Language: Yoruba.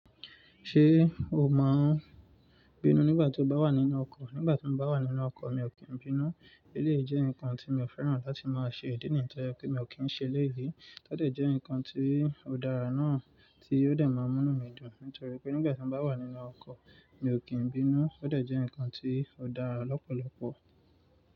Ṣé o máa ń bínú nígbà tí o bá wà nínú ọkọ̀? Nígbà tí mo bá wà nínú ọkọ̀, mi ò kí ń bínú. Élèyìí jẹ́ nǹkan tí mi ò fẹ́ràn láti máa ṣe, ìdí nìyen to je pé mi ò kí ń ṣe eléyìí. Ó dejẹ́ ǹkan tí ó dára náà tí ó de máa mú nu mí dùn, nítorí pé nígbà tí mo bá wà nínú ọkọ̀, mi ò kí ń bínú. Ó dàjẹ́ ǹkan tí ó dára lọ́pọ̀lọpọ̀